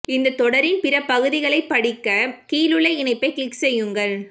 இந்தத் தொடரின் பிற பகுதிகளைப் படிக்க கீழுள்ள இணைப்பை கிளிக் செய்யுங்கள்